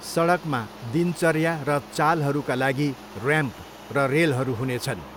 सडकमा, दिनचर्या र चालहरूका लागि र्याम्प र रेलहरू हुनेछन्।